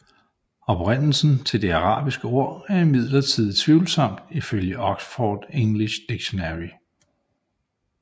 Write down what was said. Oprindelsen til det arabiske ord er imidlertid tvivlsomt ifølge Oxford English Dictionary